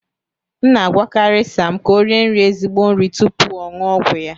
M na-agwakarị Sam ka o rie nri ezigbo nri tupu ọ ṅụọ ọgwụ ya